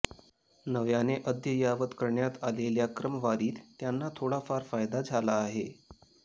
नव्याने अद्ययावत करण्यात आलेल्या क्रमवारीत त्यांना थोडाफार फायदा झाला आहे